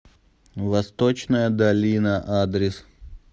восточная долина адрес